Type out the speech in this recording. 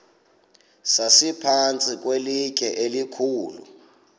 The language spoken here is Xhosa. sasiphantsi kwelitye elikhulu